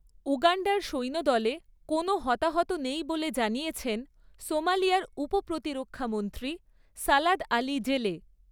উগাণ্ডার সৈন্যদলে কোনও হতাহত নেই বলে জানিয়েছেন সোমালিয়ার উপ প্রতিরক্ষামন্ত্রী সালাদ আলি জেলে।